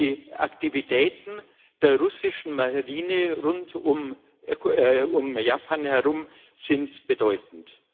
Die Aktivitäten der russischen Marine rund um Japan sind bedeutend.